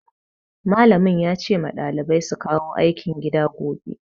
Malamin ya ce ma ɗalibai su kawo aikin gida gobe.